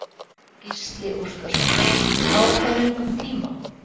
Gísli Óskarsson: Á hvað löngum tíma?